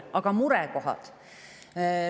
Aga murekohad?